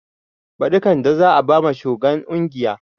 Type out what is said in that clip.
Baɗi kande za a bama shugan ƙungiya